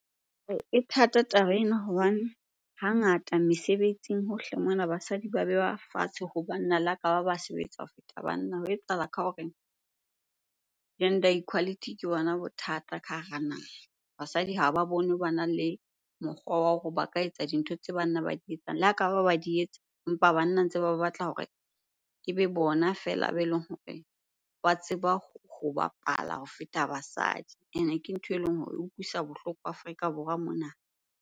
E thata taba ena hobane hangata mesebetsing hohle mona basadi ba bewa fatshe ho banna le ha kaba ba sebetsa ho feta banna. Ho etsahala ka hore gender equality ke bona bothata ka hara naha. Basadi ha ba bone bana le mokgwa wa hore ba ka etsa dintho tse banna ba di etsang. Le ha kaba ba di etsa empa banna ntse ba batla hore ebe bona feela ba eleng hore ba tseba ho bapala ho feta basadi. Ene ke ntho eleng hore eutlwisa bohloko Afrika Borwa mona.